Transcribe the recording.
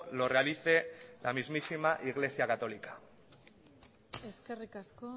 lo realice la mismísima iglesia católica eskerrik asko